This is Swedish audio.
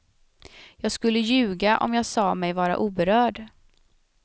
Jag skulle ljuga om jag sa mig vara oberörd.